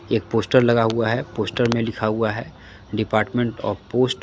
एक पोस्टर लगा हुआ है पोस्टर में लिखा हुआ है डिपार्मेंट आफ पोस्ट ।